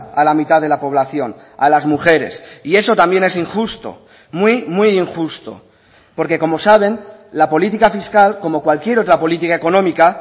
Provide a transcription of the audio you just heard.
a la mitad de la población a las mujeres y eso también es injusto muy muy injusto porque como saben la política fiscal como cualquier otra política económica